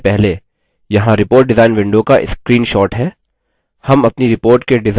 हम अपनी report के डिजाइन को इस तरह से दिखने के लिए रूपान्तर करेंगे